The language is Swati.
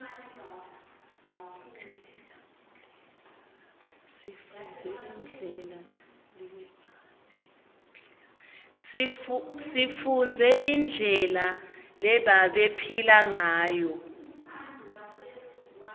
sifundze indlela lebabephila nguyo